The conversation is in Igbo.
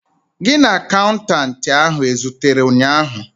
Gị na akaụntanti ahu ezutere ụnyaahụ?